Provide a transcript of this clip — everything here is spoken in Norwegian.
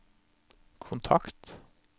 kontakt